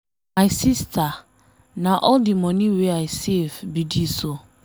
My sister, na all the money wey I save be dis oo.